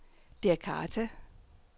Djakarta